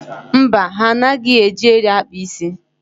Mba, ha anaghị eji eri akpa isi.